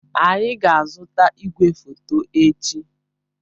Anyị ga-azụta igwefoto echi.